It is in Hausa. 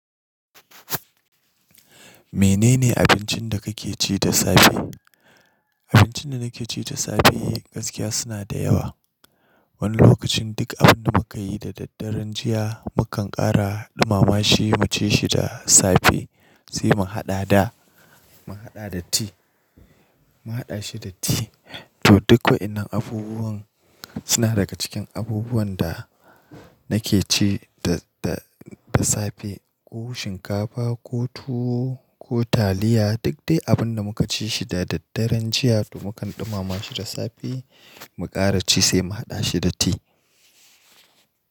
Menene abincin da kake ci da safe? Abincin da nake ci da safe gaskiya suna da yawa. Wani lokacin duk abun da muka yi da daddare, jiya mukan kara ɗumama shi, mu ci shi da safe, sai mu haɗa da, mu haɗa da tea, mu haɗa shi da tea. To duk waɗannan abubuwan suna daga cikin abubuwan da nake ci da, da, da safe. Ko shinkafa ko tuwo ko taliya, duk dai abun da muka ci shi da daddaren jiya to mukan ɗumama shi da safe, mu kara ci sai mu haɗa shi da tea.